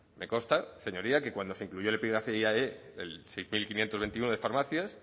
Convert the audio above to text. me consta señoría que cuando se incluyó el epígrafe el seis mil quinientos veintinueve de farmacias